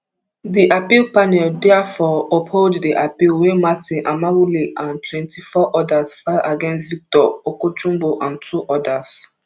di appeal panel therefore uphold di appeal wey martin amaewhule and twenty-four odas file against victor okojumbo and two odas